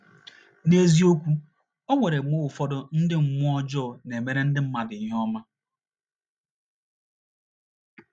N’eziokwu, e nwere mgbe ụfọdụ ndị mmụọ ọjọọ na - emere ndị mmadụ ihe ọma.